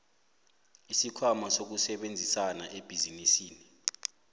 isikhwama sokusebenzisana ebhizinisini